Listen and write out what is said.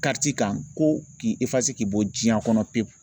kan ko k'i k'i bɔ diɲɛ kɔnɔ pew